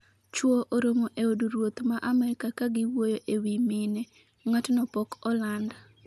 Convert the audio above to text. chuo oromo e od ruoth ma Amerka kagiwuoyo e wiy mine, ng'atno pok oland